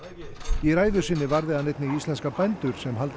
í ræðu sinni varði hann einnig íslenska bændur sem haldið